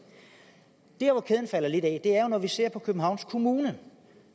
der lidt af er jo når vi ser københavns kommune